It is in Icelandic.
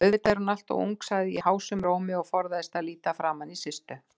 Auðvitað er hún alltof ung, sagði ég hásum rómi og forðaðist að líta framaní Systu.